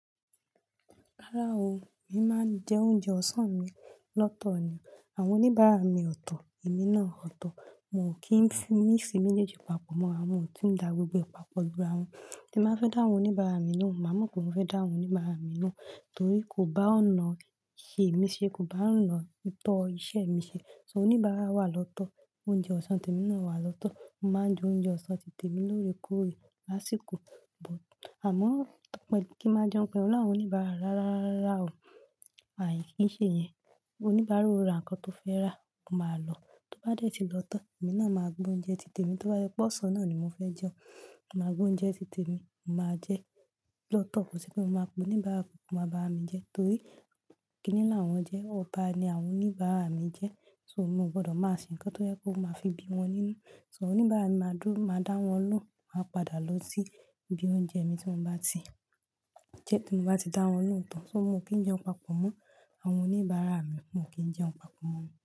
Rárá o, èmi máa ń jẹ oúnjẹ ọ̀sán mi lọ́tọ̀ ni, àwọn oníbàárà mi ọ̀tọ̀, èmi náà ọ̀tọ̀. Mo kì fi míx méjèèjì pàpọ̀ morawon motun ń dá gbogbo e papa lu ra won. Tí mo fẹ́ dá àwọn oníbàárà mi lóhùn, màá mọ̀ pé mo fẹ́ dá àwọn oníbàárà mi lóhùn torí kò bá ọ̀nà ìṣe mí ṣe, kò bá ọ̀nà ìtọ́ iṣẹ́ mi ṣe. So oníbàárà wà lọ́tọ́, oúnjẹ ọ̀sán tèmi náà wà lọ́tọ́. Mo máa ń jẹ oúnjẹ ọ̀sán ti tèmi lórekoore lásìkò, but àmọ́ tó pé kí máa jẹun pé olú àwọn oníbàárà rárá o, àì kí ń ṣe yẹn. Oníbàárà o ra nǹkan tó fẹ́ rà, o máa lọ. Tó bá dé tí lọ tán, èmi náà máa gbó ń jẹ ti tèmi. Tó bá jẹ pé ọ̀sán náà ni mo fẹ́ jẹun, màá gbó ń jẹ ti tèmi. Mo máa jẹ lọ́tọ̀, kò ṣe pé mo máa pe oníbàárà kan kowa bá mi jẹ torí kíni làwọn jẹ́, ọba ni àwọn oníbàárà mi jẹ́. So mo gbọdọ̀ máa ṣe ǹkan tó yẹ pe ó máa fi bí wọn nínú. So àwọn oníbàárà mi máa dúró, máa dá wọn lóhùn, máa padà lọ sí ibi oúnjẹ mi tí mo bá ti jẹ́ tí mo bá ti dá wọn lóhùn tán. So mo kì í jẹun papọ̀ mọ́ àwọn oníbàárà mi, mo kì í jẹun papọ̀ mọ́ wọn.